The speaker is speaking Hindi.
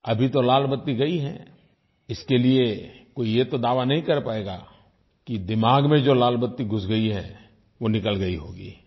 अभी तो लाल बत्ती गई है इसके लिये कोई ये तो दावा नहीं कर पायेगा कि दिमाग़ में जो लाल बत्ती घुस गई है वो निकल गई होगी